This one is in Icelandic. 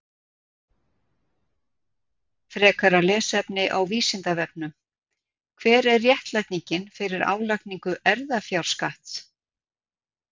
Frekara lesefni á Vísindavefnum: Hver er réttlætingin fyrir álagningu erfðafjárskatts?